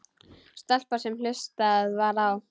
Stelpa sem hlustað var á.